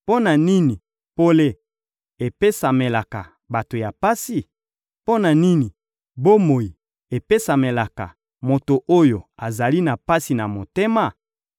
Mpo na nini pole epesamelaka bato ya pasi? Mpo na nini bomoi epesamelaka moto oyo azali na pasi na motema?